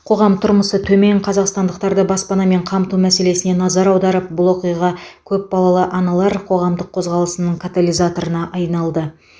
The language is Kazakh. қоғам тұрмысы төмен қазақстандықтарды баспанамен қамту мәселесіне назар аударып бұл оқиға көпбалалы аналар қоғамдық қозғалысының катализаторына айналды